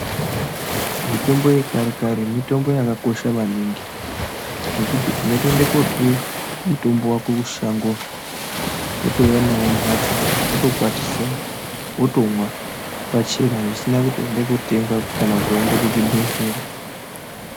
Mitombo yekare-kare mitombo yakakosha maningi, zvekuti unotoende kotore mutombo wako kushango, wotouya nawo mumphatso, wotokwatisa, wotomwa, pachena zvisina kuti waende kotenga kana kuti waende kuchibhedhlera.